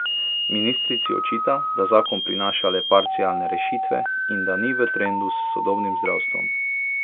Ministrici očita, da zakon prinaša le parcialne rešitve in da ni v trendu s sodobnim zdravstvom.